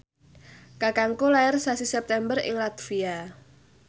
kakangku lair sasi September ing latvia